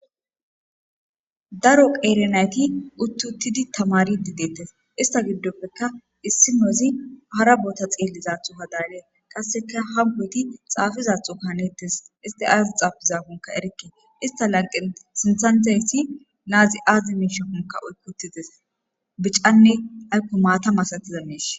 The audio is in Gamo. Daro qeeri naythi uuththi7uththidi thamaariidde deeththes; issa giddoppeka issinozi hara bootha xeellidasho hadaagee qassikka hammothi dizaassonkka haneeththes; i ay thaafizaakkokka erikke; isththa lanqqen sinththan diya na7ithi aazee oykki7uththi des; bicanne aykko maatha malathida miishsha.